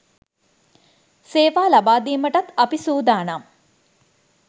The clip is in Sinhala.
සේවා ලබාදීමටත් අපි සූදානම්